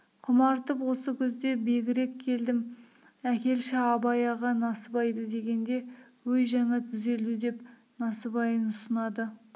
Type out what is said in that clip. құмартып осы күзде бегірек келдім әкелші абай аға насыбайды дегенде өй жаңа түзелді деп насыбайын ұсынады